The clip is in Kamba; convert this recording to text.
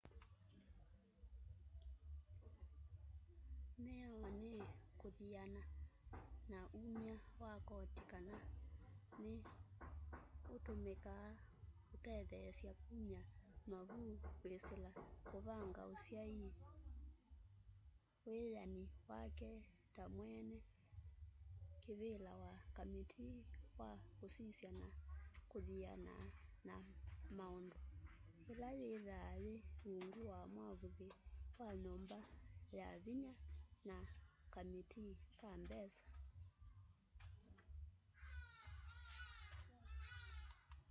mĩao nĩ kũthĩana na ũmya wa kotĩ kana nĩ ũtũmĩkaa kũtetheesya kũmya mavũ kwĩsĩla kũvanga ũsyaĩ wĩyanĩ wake ta mwene kĩvĩla wa kamĩtĩĩ wa kũsĩsya na kũthĩana na maũndũ ĩla yĩthaa yĩ ũngũ wa mwavũlĩ wa nyũmba ya vĩnya na kamĩtĩĩ ka mbesa